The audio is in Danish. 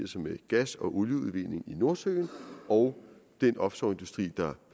sig med gas og olieudvinding i nordsøen og den offshoreindustri der